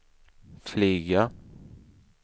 flyga